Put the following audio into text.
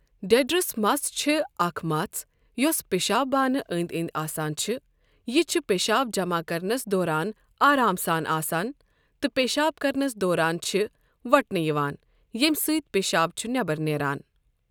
ڈؠٹرَس مَژھ چھِ اَکھ مَژھ یۄس پیشاب بانہٕ أنٛدؠ أنٛدؠ آسان چھِ یہِ چھ پیشاب جَمع کَرنَس دوران آرام سان آسَن تہٕ پیشاب کَرنَس دوران چھِ وُٹھنہٕ یِوان ییمہ سۭتۍ پیشاب چھُ نؠبَر نیران.